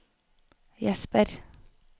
Jesper